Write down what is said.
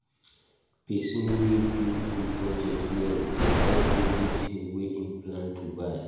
Pesin wey do im budget well dey buy everytin wey im plan to buy.